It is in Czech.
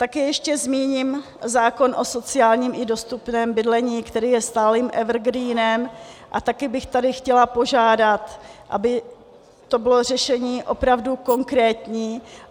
Také ještě zmíním zákon o sociálním i dostupném bydlení, který je stálým evergreenem, a také bych tady chtěla požádat, aby to bylo řešení opravdu konkrétní.